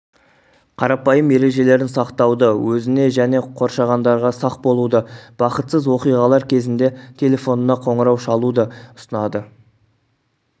қарапайым ережелерін сақтауды өзіне және қоршағандарға сақ болуды бақытсыз оқиғалар кезінде телефонына қоңырау шалуды ұсынады